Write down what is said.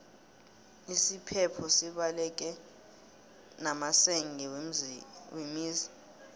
isiphepho sibaleke namasenge wemizi